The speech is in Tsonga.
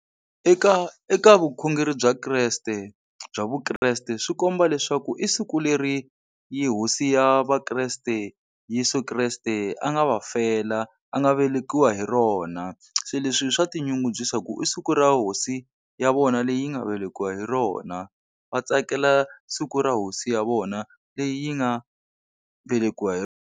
Eka eka vukhongeri bya kreste bya vukreste, swi komba leswaku i siku leri hosi ya vakreste Yeso kreste a nga va fela, a nga vele wa hi rona. Se leswi swa tinyungubyisa ku i siku ra hosi ya vona leyi yi nga velekiwa hi rona. Va tsakela siku ra hosi ya vona leyi yi nga velekiwa hi.